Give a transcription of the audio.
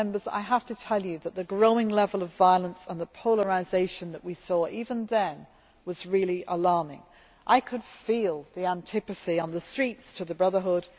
I have to tell you that the growing level of violence and the polarisation that we saw even then was really alarming. I could feel the antipathy on the streets to the Brotherhood.